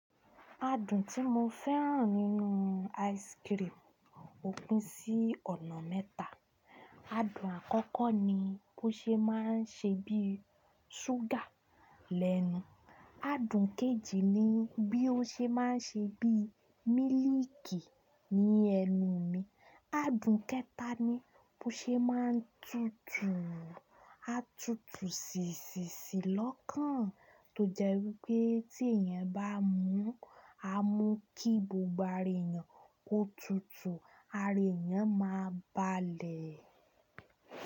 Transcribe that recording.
Adùn tí mo fẹ́ràn nínú ice cream ó pín sí ọ̀nà mẹ́ta. Adùn àkọ́kọ́ ni bó ṣe máa ń ṣe bí ṣúgà lẹ́nu, adùn kejì ni bí ó ṣe máa ń ṣe bí mílíkì ní ẹnu mi, adùn kẹta ni bó ṣe máa ń tutù. A tutù sìnsìnsìnlọ́kàn tó jẹ́ wípé tí èèyàn bá mú, a mú kí gbogbo ara èèyàn ó tutù, ara èèyàn ma balẹ̀.